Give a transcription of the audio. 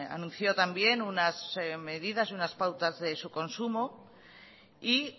anunció también unas medidas unas pautas de su consumo y